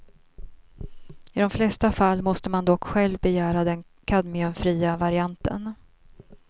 I de flesta fall måste man dock själv begära den kadmiumfria varianten.